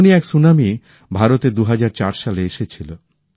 এমনই এক সুনামি ভারতে ২০০৪ সালে এসেছিল